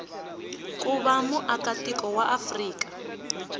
ku va muakatiko wa afrika